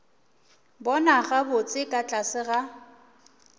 bona gabotse ka tlase ga